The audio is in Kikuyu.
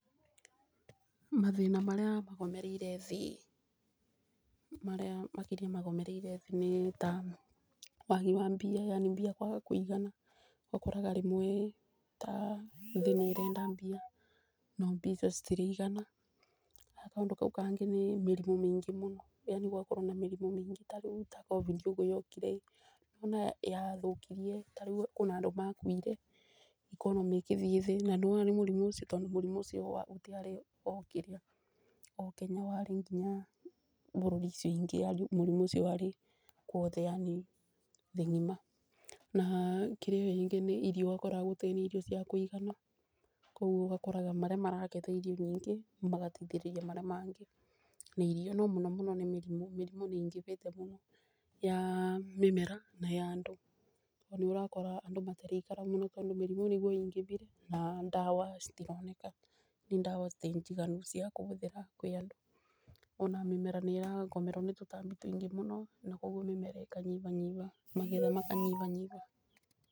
Mathĩna marĩa magomereire thĩ marĩa makĩria magomereire thĩ nĩ ta wagi wa mbia yani mbia kwaga kũigana. Ũkoraga rĩmwe ta thĩ nĩ ĩrenda mbia no mbia icio citiraigana, na kaũndũ kau kangĩ nĩ mĩrimũ mĩingĩ mũno yani gũgakorwo na mĩrimũ maingĩ, tarĩu ta COVID ũguo yokire ĩ nĩ wona yathũkirie, kwĩna andũ makuire economy ĩgĩthiĩ thĩ. Na nĩ wona nĩ mũrimũ ũcio tondũ mũrimũ ũcio ũtiarĩ o Kenya warĩ nginya bũruri icio ingĩ, Yani mũrimũ ũcio warĩ kuothe yani thĩ ng'ima. Na kĩrĩa ningĩ nĩ irio irio ũgakora gũtarĩ na irio cia kũigana, koguo ũgakoraga marĩa maragetha irio nyingĩ magateithĩrĩria marĩa mangĩ na irio. No mũno mũno nĩ mĩrimũ mĩrimũ nĩ ingĩbĩte mũno ya mĩmera na ya andũ, na nĩ ũrakora andũ matiraikara mũno tondũ mĩrimũ nĩguo ingĩbire na ndawa citira citironeka, na ndawa ti njiganu cia kũbũthĩra kwĩ andũ. Ona mĩmera nĩ ĩragũmĩrwo nĩ tũtambi tuingĩ mũno na koguo mĩmera ĩkanyiba magetha maka nyibanyiba.